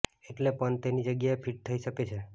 એટલે પંત તેની જગ્યાએ ફિટ થઈ શકે છે